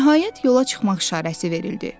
Nəhayət yola çıxmaq işarəsi verildi.